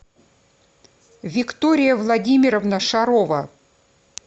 виктория владимировна шарова